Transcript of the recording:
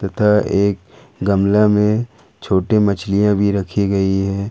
तथा एक गमले में छोटी मछलियां भी रखी गई है।